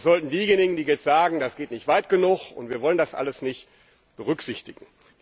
Das sollten diejenigen, die jetzt sagen, das geht nicht weit genug, und wir wollen das alles nicht, berücksichtigen.